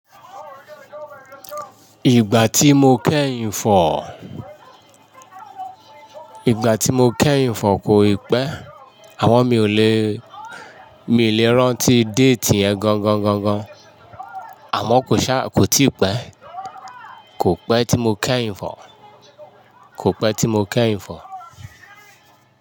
Ìgbà tí mo kẹ́yin fọ̀, ìgbà tí mo kẹ́yin fọ̀ kò ì pẹ́ àmọ mi ò lè, mi ò lè rántí déètì yẹn gangan-gangan. Àmọ́ kò ṣá, kò tí ì pẹ́. Kò pẹ́ tí mo kẹ́ ìfọ̀, kò pẹ́ tí mo kẹ́ ìfọ̀.